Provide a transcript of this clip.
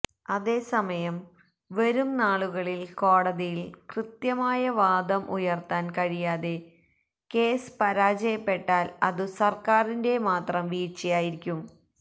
അതേസമയം വരും നാളുകളില് കോടതിയില് കൃത്യമായ വാദം ഉയര്ത്താന് കഴിയാതെ കേസ് പരാജയപ്പെട്ടാല് അതു സര്ക്കാരിന്റെ മാത്രം വീഴ്ചയായിരിക്കും